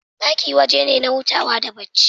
Ɗaki waje ne na hutawa da bacci